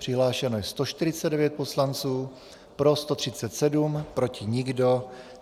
Přihlášeno je 149 poslanců, pro 137, proti nikdo.